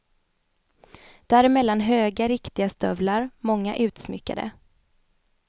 Däremellan höga riktiga stövlar, många utsmyckade.